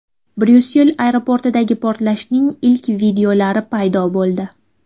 Bryussel aeroportidagi portlashning ilk videolari paydo bo‘ldi.